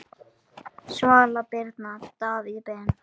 Svala Birna, Davíð Ben.